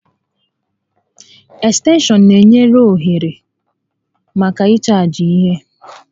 Ekstenshọn n'enye ohere màkà ịchaajị ihe